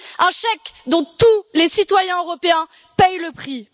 Un chèque dont tous les citoyens européens payent le prix.